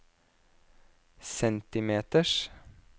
centimeters